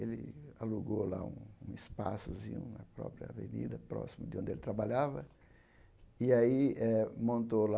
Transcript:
Ele alugou lá um um espaçozinho na própria avenida, próximo de onde ele trabalhava, e aí montou lá